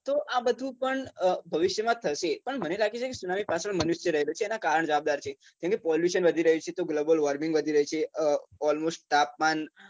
તો આ બધું પણ ભવિષ્યમાં જ થશે પણ મને લાગે છે કે સુનામી પાછળ મનુષ્ય રહેલો છે એનાં કારણ જવાબદાર છે કેમ કે pollution વધી રહ્યું છે તો global warming વધી રહ્યું છે almost તાપમાન